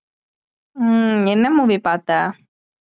ஹம் என்ன movie பார்த்த?